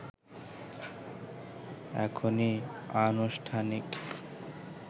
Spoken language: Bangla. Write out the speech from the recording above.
এখনই আনুষ্ঠানিক